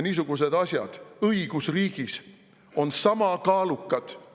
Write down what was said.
Niisugused asjad on õigusriigis sama kaalukad.